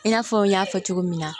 I n'a fɔ n y'a fɔ cogo min na